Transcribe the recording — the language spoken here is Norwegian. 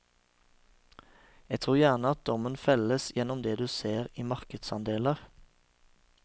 Jeg tror gjerne at dommen felles gjennom det du ser i markedsandeler.